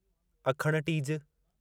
अखण tease